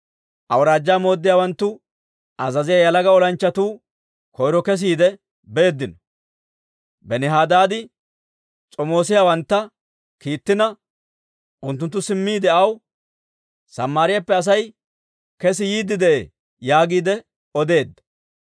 Awuraajjaa mooddiyaawanttu azaziyaa yalaga olanchchatuu koyro kesiide beeddino. Benihadaadi s'omoosiyaawantta kiittina, unttunttu simmiide aw, «Samaariyaappe Asay kesi yiidde de'ee» yaagiide odeedda.